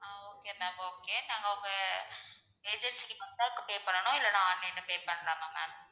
ஆஹ் okay ma'am okay நாங்க உங்க agency க்கு வந்தா பண்ண்ணும், இல்லைனா online ல pay பண்ணலாமா ma'am